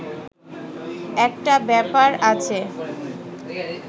একটা ব্যাপার আছে